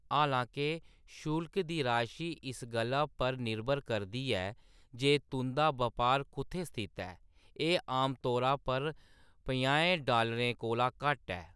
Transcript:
हालां-के शुल्क दी राशी इस गल्ला पर निरभर करदी ऐ जे तुंʼदा बपार कुत्थैं स्थित ऐ, एह्‌‌ आमतौरे पर पंजाहें डालरें कोला घट्ट ऐ।